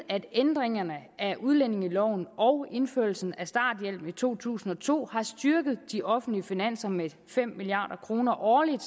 at ændringerne af udlændingeloven og indførelsen af starthjælpen i to tusind og to havde styrket de offentlige finanser med fem milliard kroner årligt